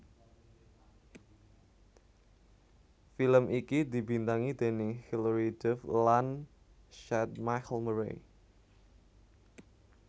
Film iki dibintangi déning Hillary Duff lan Chad Michael Murray